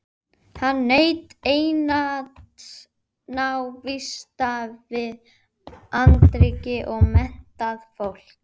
Hann naut einatt návista við andríkt og menntað fólk.